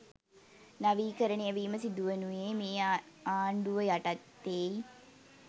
නවීකරණය වීම සිදුවුණේ මේ ආණ්ඩුව යටතේයි.